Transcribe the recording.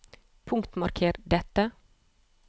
Punktmarker dette